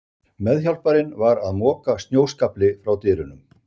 Meðhjálparinn var að moka snjóskafli frá dyrunum.